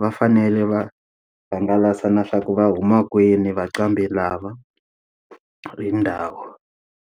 va fanele va hangalasa na swa ku va huma kwini vanqambi lava hi ndhawu.